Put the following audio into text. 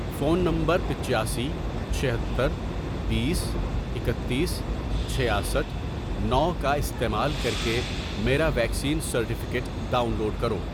phone نمبرپچاسی ،چھہتر ،بیس، اکتیس، چھیاسٹھ ،نو، کا استعمال کر کے میرا ویکسین سرٹیفکیٹ ڈاؤن لوڈ کرو